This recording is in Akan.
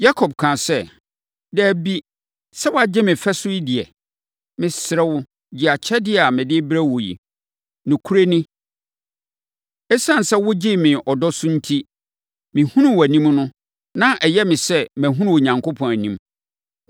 Yakob kaa sɛ, “Dabi, sɛ woagye me fɛ so deɛ a, mesrɛ wo, gye akyɛdeɛ a mede rebrɛ wo yi. Nokorɛ ni, ɛsiane sɛ wogyee me ɔdɔ so enti, mehunuu wʼanim no, na ayɛ me sɛdeɛ mahunu Onyankopɔn anim.